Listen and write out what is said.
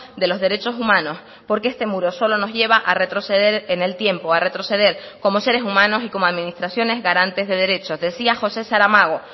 de los derechos humanos porque este muro solo nos lleva a retroceder en el tiempo a retroceder como seres humanos y como administraciones garantes de derecho decía josé saramago